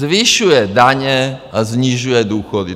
Zvyšuje daně a snižuje důchody.